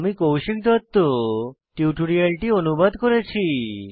আমি কৌশিক দত্ত টিউটোরিয়ালটি অনুবাদ করেছি